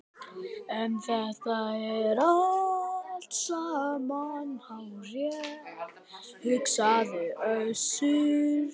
En þetta er allt saman hárrétt, hugsaði Össur.